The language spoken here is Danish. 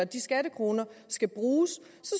de skattekroner skal bruges